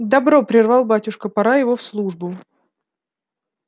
добро прервал батюшка пора его в службу